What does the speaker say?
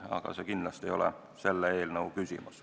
Aga see ei ole kindlasti selle eelnõu küsimus.